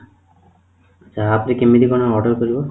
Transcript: ତା ଉପରେ କେମିତି କଣ order କରିବ ?